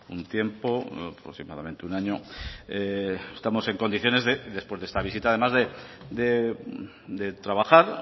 un tiempo aproximadamente un año estamos en condiciones después de esta visita además de trabajar